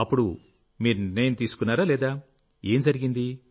అప్పుడు మీరు నిర్ణయం తీసుకున్నారా లేదా ఏం జరిగింది